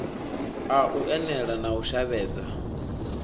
a unele na u shavhedza